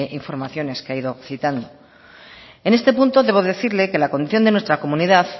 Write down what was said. informaciones que ha ido citando en este punto debo decirle que la condición de nuestra comunidad